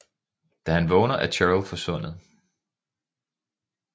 Da han vågner er Cheryl forsvundet